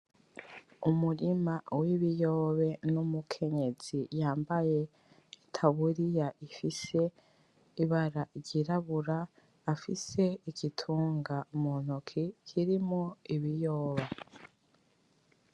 Umurima wibiyobe numukenyezi yambaye itaburiya ifise ibara ryirabura afise igitunga muntoki kirimwo ibiyoba